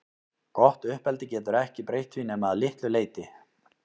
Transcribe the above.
Gott uppeldi getur ekki breytt því nema að litlu leyti.